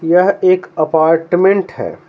यह एक अपार्टमेंट है।